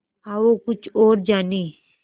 आओ कुछ और जानें